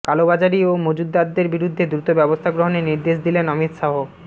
কালোবাজারি ও মজুতদারদের বিরুদ্ধে দ্রুত ব্যবস্থা গ্রহণের নির্দেশ দিলেন অমিত শাহ